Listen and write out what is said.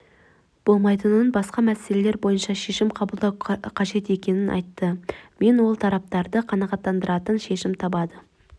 болмайтынын басқа мәселелер бойынша шешім қабылдау қажет екенін айтты мен ол тараптарды қанағаттандыратын шешім табады